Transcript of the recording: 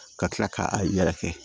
Ka kila ka a yɛrɛkɛ